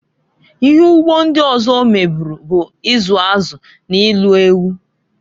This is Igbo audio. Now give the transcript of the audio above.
Ihe ugbo ndị ọzọ ọ meburu bụ izu azụ na ilu ewu.